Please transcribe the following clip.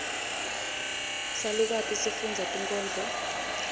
salukati sifundza tinkhondlo